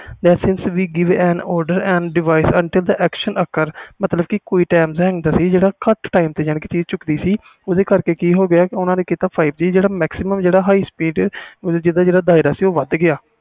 give on order and device until the action ਮਤਬਲ ਕਿ ਕੋਈ tie ਹੁੰਦਾ ਸੀ ਕਿ ਘਟ ਤੇ ਚੁੱਕ ਦਾ ਸੀ ਓਹਦੇ ਕਰਕੇ ਓਹਨਾ ਨੇ ਕੀਤਾ five G ਜਿਹੜੇ ਕਰਕੇ high speed ਜਿੰਦਾ ਦਾਇਰਾ ਵੱਧ ਗਿਆ